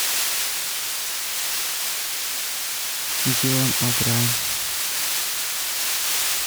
дилан о брайен